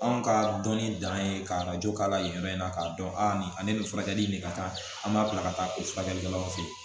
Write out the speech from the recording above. Anw ka dɔnni dan ye ka arajo k'a la yen yɔrɔ in na k'a dɔn a ni ale bɛ furakɛli min kɛ ka taa an b'a bila ka taa o furakɛlikɛlaw fɛ yen